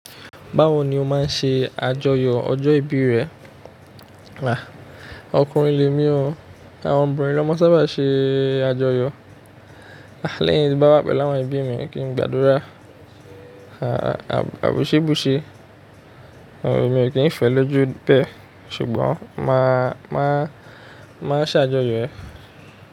Báwo ni o máa ń ṣe àjọyọ̀ ọjọ́ ìbí rẹ? Ọkùnrin lè mí o, àwọn obìnrin ló máa ń sábà ṣe àjọyọ̀. Lẹ́yìn tí n bá pelu awọn ẹbí mi kí n gbàdúrà, àbúṣébúṣe. Èmi ò kí ń fẹ́ lójú bẹ́ẹ̀ ṣùgbọ́n máa, máa, máa ṣàjọyọ̀ ẹ̀.